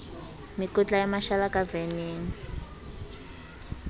mekotla ya mashala ka veneng